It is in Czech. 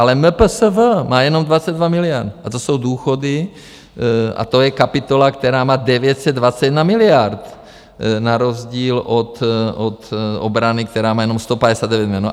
Ale MPSV má jenom 22 miliard - a to jsou důchody a to je kapitola, která má 921 miliard na rozdíl od obrany, která má jenom 159 miliard.